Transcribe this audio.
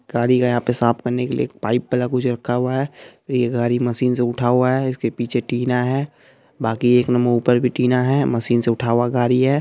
गाड़ी का यहाँ पे साफ करने के लिए पाइप वाला कुछ रखा है ये गाड़ी मशीन से उठा हुआ है इसके पीछे टीना है बाकी एक न ऊपर भी टीना है मशीन से उठा हुआ गाड़ी है।